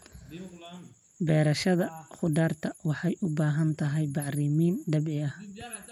Beerashada khudaarta waxay u baahan tahay bacrimin dabiici ah.